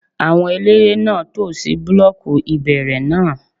Àwọn eléré náà tò sí búlọ́ọ̀kù ìbẹ̀rẹ̀ náà